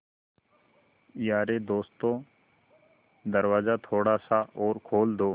यारे दोस्तों दरवाज़ा थोड़ा सा और खोल दो